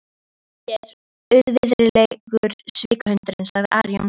Svei þér auðvirðilegur svikahundurinn, sagði Ari Jónsson.